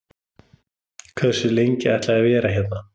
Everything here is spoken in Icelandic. Hversu lengi ætla ég að vera hérna?